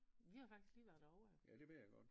Vi har jo faktisk lige været derovre jo